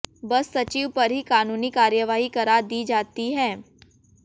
बस सचिव पर ही कानूनी कार्रवाई करा दी जाती है